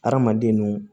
Hadamaden nu